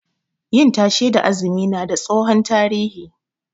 Yin tashe da azumi na da tsohon tarihi